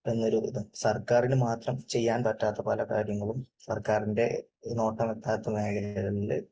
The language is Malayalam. എന്ന് ഒരു, സർക്കാരിന് മാത്രം ചെയ്യാൻ പറ്റാത്ത പല കാര്യങ്ങളും സർക്കാരിന്റെ നോട്ടമെത്താത്ത മേഖലകളിൽ